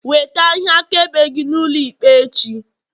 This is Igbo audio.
weta ihe akaebe gi n'ulo ikpe echi!